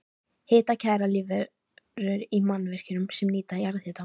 Hitakærar lífverur í mannvirkjum sem nýta jarðhita